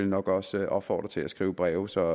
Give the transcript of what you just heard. nok også opfordre til at skrive breve så